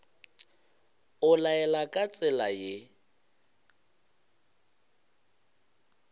o laela ka tsela ye